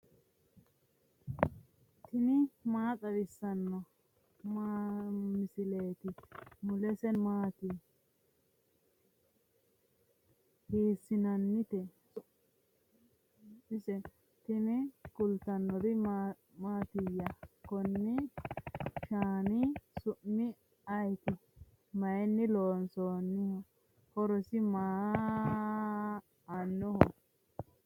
tini maa xawissanno misileeti ? mulese noori maati ? hiissinannite ise ? tini kultannori mattiya? konni shaanni su'mi ayiitti? mayinni loonsoonisi? horo maa aanoho?